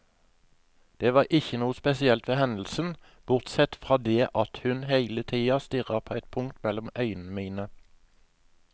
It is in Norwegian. Det var ikke noe spesielt ved hendelsen, bortsett fra det at hun hele tiden stirret på et punkt mellom øynene mine.